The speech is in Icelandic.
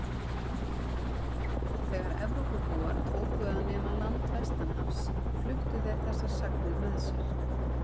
Þegar Evrópubúar tóku að nema land vestanhafs fluttu þeir þessar sagnir með sér.